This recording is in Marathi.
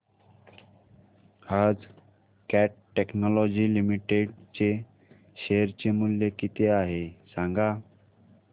आज कॅट टेक्नोलॉजीज लिमिटेड चे शेअर चे मूल्य किती आहे सांगा